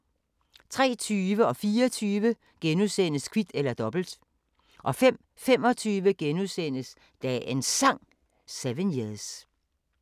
03:20: Kvit eller Dobbelt * 04:20: Kvit eller Dobbelt * 05:25: Dagens Sang: 7 years *